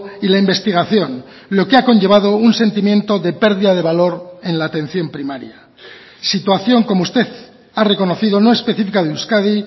y la investigación lo que ha conllevado un sentimiento de pérdida de valor en la atención primaria situación como usted ha reconocido no específica de euskadi